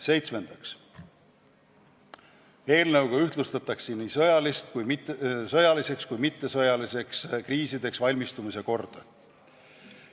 Seitsmendaks, eelnõuga ühtlustatakse nii sõjalisteks kui ka mittesõjalisteks kriisideks valmistumise korda.